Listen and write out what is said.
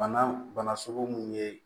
Bana bana sugu mun ye